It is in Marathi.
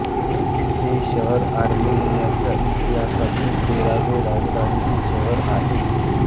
हे शहर आर्मेनियाच्या इतिहासातील तेरावे राजधानीचे शहर आहे